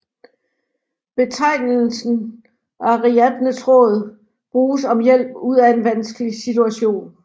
Betegnelsen ariadnetråd bruges om hjælp ud af vanskelig situation